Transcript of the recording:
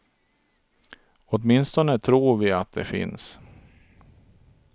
Åtminstone tror vi att de finns.